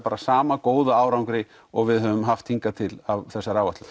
sama góða árangri og við höfum haft hingað til á þessar áætlun